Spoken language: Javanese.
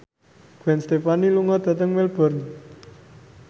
Gwen Stefani lunga dhateng Melbourne